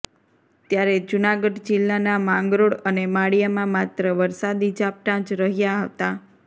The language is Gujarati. ત્યારે જૂનાગઢ જિલ્લાનાં માંગરોળ અને માળિયામાં માત્ર વરસાદી ઝાંપટા જ રહ્યાં હતાં